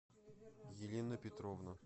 елена петровна